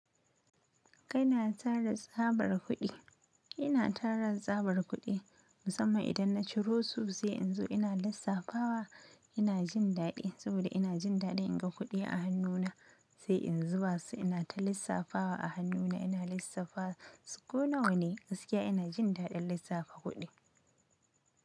Kana tara tsabar kuɗi. Ina tara tsabar kuɗi musamman idan na ciro su sai in zo ina lissafawa ina jin daɗi saboda ina jin daɗin in ga kuɗi a hannuna sai in zuba su ina ta lissafawa a hannuna ina lissafa su ko nawane gaskiya ina jin daɗin lissafa kuɗi.